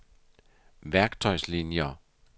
værktøjslinier